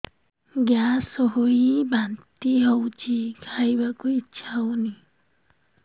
gas ହୋଇ ବାନ୍ତି ହଉଛି ଖାଇବାକୁ ଇଚ୍ଛା ହଉନି